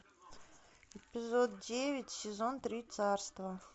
эпизод девять сезон три царство